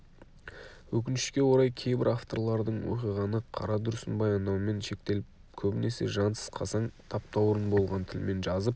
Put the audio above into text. өкінішке орай кейбір авторлардың оқиғаны қара дүрсін баяндаумен шектеліп көбінесе жансыз қасаң таптаурын болған тілмен жазып